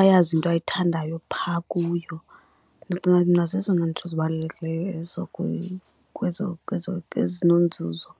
ayazi into ayithandayo phaa kuyo. Ndicinga mna zezona nto zibalulekileyo ezo nzuzo.